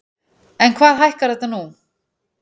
En hvað hækkar þetta nú?